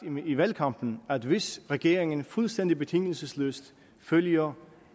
i valgkampen at hvis regeringen fuldstændig betingelsesløst følger